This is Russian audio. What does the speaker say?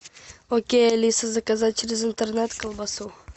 окей алиса заказать через интернет колбасу